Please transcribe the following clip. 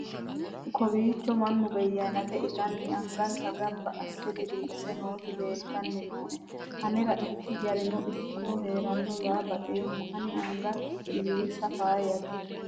kowiicho mannu beyanete itanni angansa gamba asse diriirse nooti leeltanni nooe anera ikki garano ikkiro heerona yaa baxeemmo ani anga diriisa faayyate